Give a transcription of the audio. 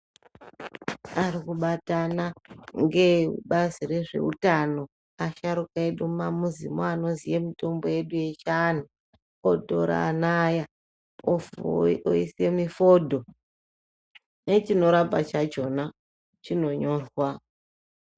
Ari kubatana ngeebazi rezveutano ,asharuka edu mumamizimo anoziya ngezvemitombo yedu yechianhu, otorana aya, ofuu oise mifodho ,nechinorapa chakhona chinonyorwa.